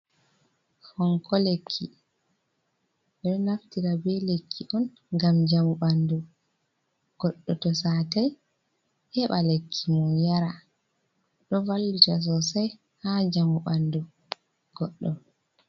Fonko lekki, ɓeɗo naftira be lekki on ngam njamu ɓandu goɗɗo to satai heɓa lekki mo yara ɗo vallita sosai ha njamu ɓandu goɗɗo.